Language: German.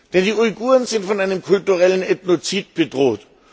denn die Uiguren sind von einem kulturellen Ethnozid bedroht.